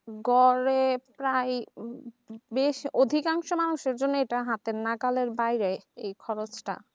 গড়ে প্রায় বেশ অধিকাংশ মানুষের জন্য এটা হাতের নাগালের বাইরে এই খরচটা